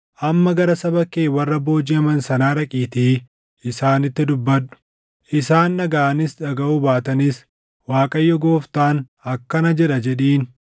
Amma gara saba kee warra boojiʼaman sanaa dhaqiitii isaanitti dubbadhu. Isaan dhagaʼanis dhagaʼuu baatanis, ‘ Waaqayyo Gooftaan akkana jedha’ jedhiin.”